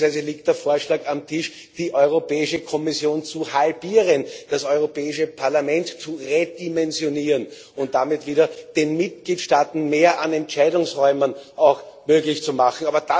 Beispielsweise liegt der Vorschlag auf dem Tisch, die Europäische Kommission zu halbieren, das Europäische Parlament zu redimensionieren und damit den Mitgliedstaaten wieder mehr an Entscheidungsräumen möglich zu machen.